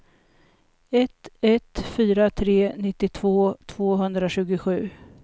ett ett fyra tre nittiotvå tvåhundratjugosju